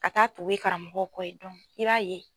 A k'a tugu ye karamɔgɔw kɔ ye i b'a ye.